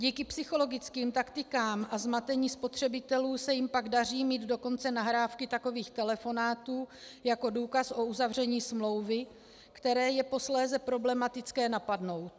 Díky psychologickým taktikám a zmatení spotřebitelů se jim pak daří mít dokonce nahrávky takových telefonátů jako důkaz o uzavření smlouvy, které je posléze problematické napadnout.